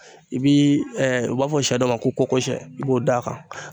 I bi u b'a fɔ sɛ dɔ ma ko kɔkosɛ i b'o d'a kan